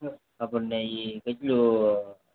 આપણને કેટલીક